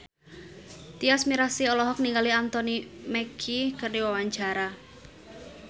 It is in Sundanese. Tyas Mirasih olohok ningali Anthony Mackie keur diwawancara